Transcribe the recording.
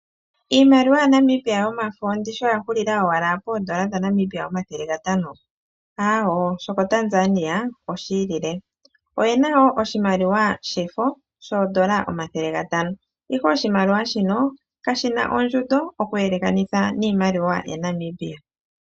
Iimaliwa yaNamibia yomafo oyahulila owala poondola dhaNamibial omathele gatano aawo! shoko Tanzania oshi ili. Oyena woo oshimaliwa shefo shooShilingi omathele gatano ihe oshimaliwa shino kashina ondjundo oku yeleka niimaliwa yaNamibia.